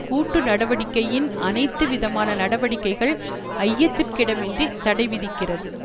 கூட்டு நடவடிக்கையின் அனைத்து விதமான நடவடிக்கைகள் ஐயத்திற்கிடமின்றி தடைவிதிக்கிறது